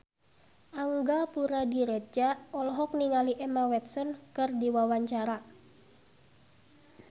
Angga Puradiredja olohok ningali Emma Watson keur diwawancara